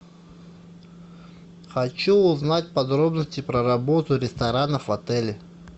хочу узнать подробности про работу ресторанов в отеле